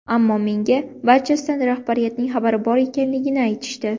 Ammo menga barchasidan rahbariyatning xabari bor ekanligini aytishdi.